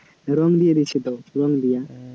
রঙ দিয়ে দিচ্ছে তো, রঙ দেওয়া